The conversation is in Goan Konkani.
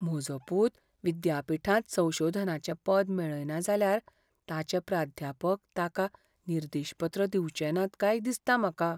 म्हजो पूत विद्यापीठांत संशोधनाचें पद मेळयना जाल्यार ताचे प्राध्यापक ताका निर्देशपत्र दिवचे नात काय दिसता म्हाका.